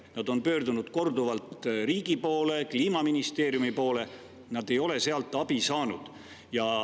Nad on korduvalt pöördunud riigi poole, Kliimaministeeriumi poole, aga ei ole sealt abi saanud.